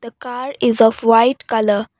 car is of white colour.